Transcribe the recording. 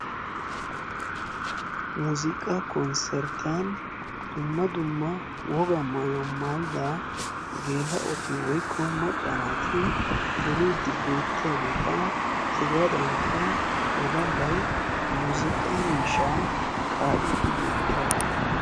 Muuziiqaa konserttiyan dumma dumma wogaa maayuwa maayida geela"oti woykko macca naati duriiddi beettiyaageeta hegaadankka woddallay muuziiqaa miishshaa kaa"iiddi beettiyaagaa.